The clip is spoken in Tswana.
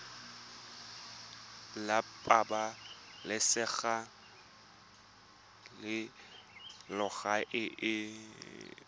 la pabalesego le loago e